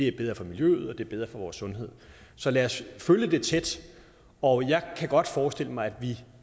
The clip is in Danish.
er bedre for miljøet og det er bedre for vores sundhed så lad os følge det tæt og jeg kan godt forestille mig